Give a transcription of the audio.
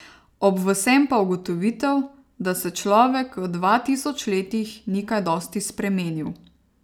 Ob vsem pa ugotovitev, da se človek v dva tisoč letih ni kaj dosti spremenil ...